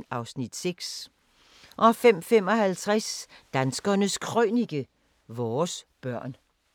05:55: Danskernes Krønike – Vores børn